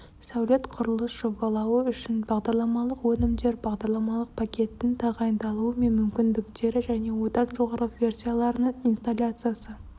сәулет құрылыс жобалауы үшін бағдарламалық өнімдер бағдарламалық пакеттің тағайындалуы мен мүмкіндіктері және одан жоғары версияларының инсталляциясы